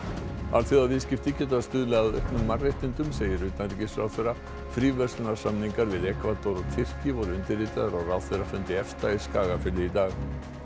alþjóðaviðskipti geta stuðlað að auknum mannréttindum segir utanríkisráðherra fríverslunarsamningar við Ekvador og Tyrki voru undirritaðir á ráðherrafundi EFTA í Skagafirði í dag